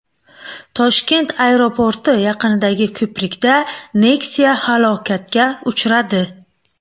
Toshkent aeroporti yaqinidagi ko‘prikda Nexia halokatga uchradi .